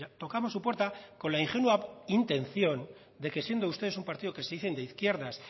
tocamos su puerta con la ingenua intención de que siendo ustedes un partido que se dice de izquierdas